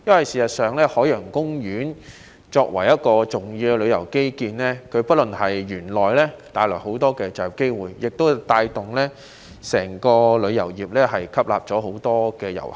事實上，海洋公園作為重要的旅遊基建，不僅帶來很多就業機會，亦可帶動整個旅遊業，吸納很多遊客。